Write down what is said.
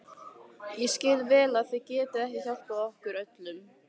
Ég skil vel að þið getið ekki hjálpað okkur öllum.